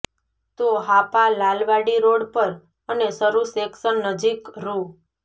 તો હાપા લાલવાડી રોડ પર અને શરૂ સેકશન નજીક રૂા